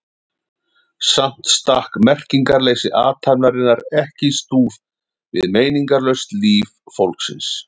Samt stakk merkingarleysi athafnarinnar ekki í stúf við meiningarlaust líf fólksins.